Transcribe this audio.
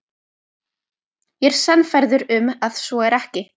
Ég er sannfærður um, að svo er ekki.